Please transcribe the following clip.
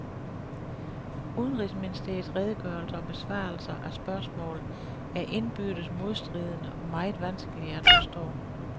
Udenrigsministeriets redegørelser og besvarelser af spørgsmål er indbyrdes modstridende og meget vanskelige at forstå.